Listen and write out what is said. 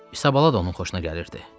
İsabala da onun xoşuna gəlirdi.